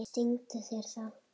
Stingur sér þá.